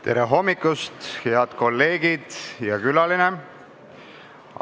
Tere hommikust, head kolleegid ja külaline!